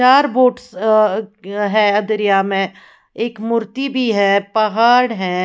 चार बोट्स अ है दरिया में एक मूर्ति भी है पहाड़ भी है।